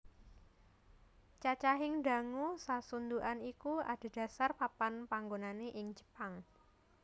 Cacahing dango sasundhukan iku adhedhasar papan panggonane ing Jepang